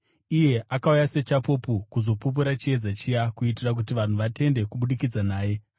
Iye akauya sechapupu kuzopupurira chiedza chiya, kuitira kuti vanhu vatende kubudikidza naye.